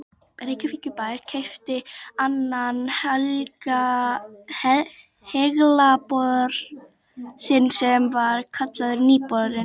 Reykjavíkurbær keypti annan haglabor sinn sem var kallaður Nýi borinn.